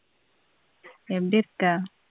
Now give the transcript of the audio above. எப்படி இருக்க?